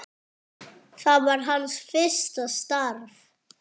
Það var hans fyrsta starf.